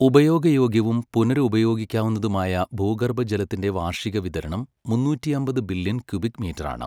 ഉപയോഗയോഗ്യവും പുനരുപയോഗിക്കാവുന്നതുമായ ഭൂഗർഭജലത്തിന്റെ വാർഷിക വിതരണം മൂന്നൂറ്റിയമ്പത് ബില്യൺ ക്യുബിക് മീറ്ററാണ്.